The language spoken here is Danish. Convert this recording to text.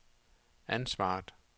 ansvaret